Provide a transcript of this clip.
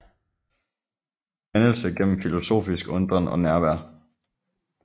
Dannelse gennem filosofisk undren og nærvær